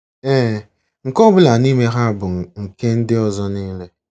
Ee, nke ọ bụla n'ime ha bụ nke ndị ọzọ niile.